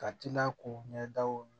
Ka tila k'u ɲɛdaw